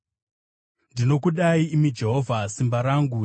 Ndinokudai, imi Jehovha, simba rangu.